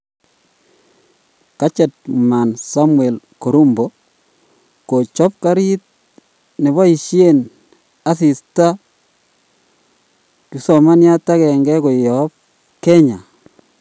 Gadget Man Samuel Karumbo; kochop karit nepoishen asista kipsomaniat agenge koyap Kenya.